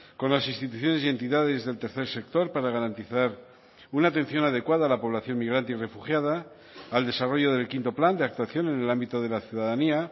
con las instituciones y entidades del tercer sector para garantizar una atención adecuada a la población migrante y refugiada al desarrollo del quinto plan de actuación en el ámbito de la ciudadanía